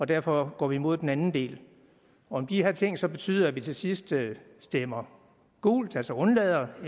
derfor går vi imod den anden del om de her ting så betyder at vi til sidst stemmer gult altså undlader at